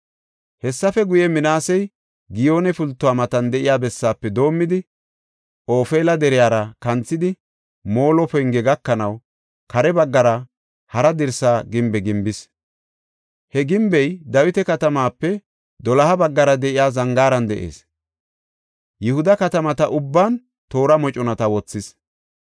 Hessafe guye, Minaasey Giyoone Pultuwa matan de7iya bessaafe doomidi Ofeela deriyara kanthidi Molo Penge gakanaw kare baggara hara dirsa gimbe gimbis. He gimbey Dawita Katamaape doloha baggara de7iya zangaaran de7ees. Yihuda katamata ubban toora moconata wothis.